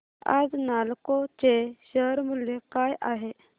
आज नालको चे शेअर मूल्य काय आहे